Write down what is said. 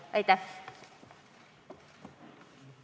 Aitäh!